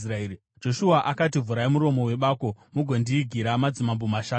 Joshua akati, “Vhurai muromo webako mugondiigira madzimambo mashanu aya.”